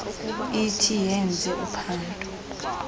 ithi yenze uphando